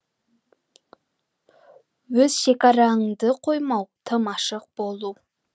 өз шекараңды қоймау тым ашық болу